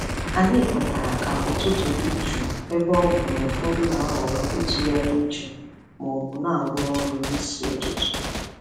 Anyị kwetara ka ụtụtụ dị jụụ ebe ọ bụ na ụfọdụ na-ahọrọ ịtụgharị uche ma ọ bụ na-arụ ọrụ n'isi ụtụtụ.